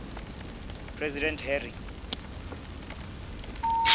president harry